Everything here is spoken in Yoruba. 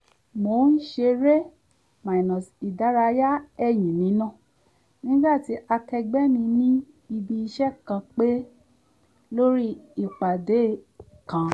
mò ń ṣe eré-ìdárayá ẹ̀yìn nínà nígbà tí akẹẹgbẹ́ mi ní ibí iṣẹ́ kan pè lórí ìpàdé kan